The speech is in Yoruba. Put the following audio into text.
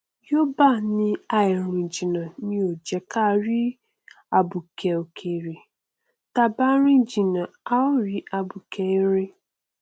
yoòbá ní àìrìn jìnnà ni ò jẹ ká rí abuké ọkẹrẹ táa bá rìn jìnnà à ó rí abuké erin